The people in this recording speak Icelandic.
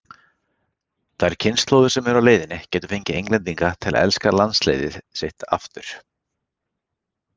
Þær kynslóðir sem eru á leiðinni gætu fengið Englendinga til að elska landsliðið sitt aftur.